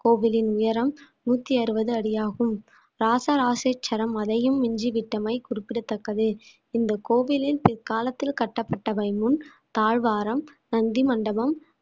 கோவிலின் உயரம் நூத்தி அறுவது அடியாகும் ராச ராசேச்சரம் அதையும் மிஞ்சி விட்டமை குறிப்பிடத்தக்கது இந்த கோவிலில் பிற்காலத்தில் கட்டப்பட்டவை முன் தாழ்வாரம் நந்தி மண்டபம்